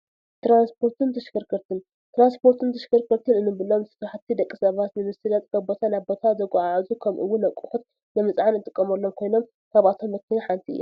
ትራንስፖርትን ተሽከርከርትን፡- ትራንስፖርትን ተሽከርከርትን እንብሎም ስራሕቲ ደቂ ሰባት ንምስላጥ ካብ ቦታ ናብ ቦታ ዘጓዓዕዙ ከምኡ ውን ኣቕሑት ንምዕዓን እንጥቀመሎም ኮይኖም ካብኣቶም መኪና ሓንቲ እያ፡፡